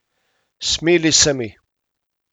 Smili se mi.